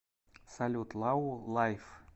салют лау лайф